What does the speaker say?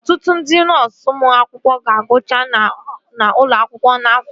Ọtụtụ ndị nọọsu ụmụ akwụkwọ ga-agụcha n'ụlọ akwụkwọ n'afọ a